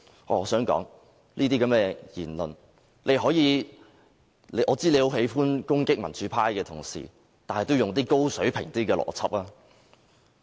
我知道周議員很喜歡攻擊民主派的同事，但請他用一些較高水平的邏輯思維。